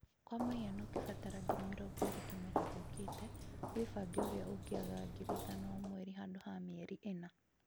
kwa mũhano ũkabatara ngiri mĩrongo ĩri kĩmera gĩũkite wĩfange ũria ũngĩigaga ngiri ithano O mweri handu ha mĩeri ĩna.